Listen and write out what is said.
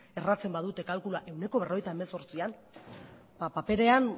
erratzen badute kalkuloa ehuneko berrogeita hemezortzian ba paperean